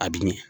A bi ɲɛ